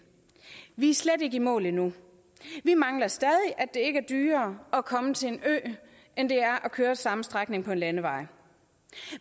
vi er slet ikke i mål endnu vi mangler stadig at det ikke er dyrere at komme til en ø end det er at køre den samme strækning på en landevej